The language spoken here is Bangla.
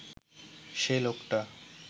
সে লোকটা